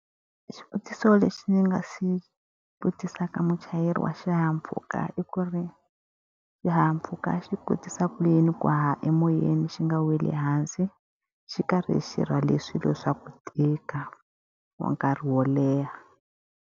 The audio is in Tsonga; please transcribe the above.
Xivutiso lexi ndzi nga xi vutisaka muchayeri wa xihahampfhuka i ku ri, xihahampfhuka xi kotisa ku yini ku haha emoyeni xi nga weli ehansi, xi karhi xi rhwale swilo swa ku tika wa nkarhi wo leha?